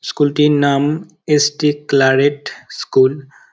School -টির নাম S T Claret school.